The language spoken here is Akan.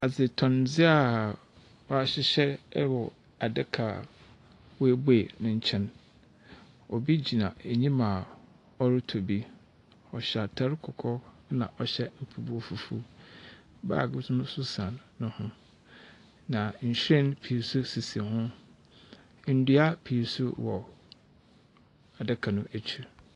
Adzetɔndze a wɔahyehyɛ wɔ adaka a woebue ne nkyɛn, obi enyim a ɔrotɔ bi. Ɔhyɛ atar kɔkɔɔ na ɔhyɛ mpaboa fufuw, baage so no so san no ho. Na nhyiren pii so sisi ho, ndua pii so adaka no ekyir.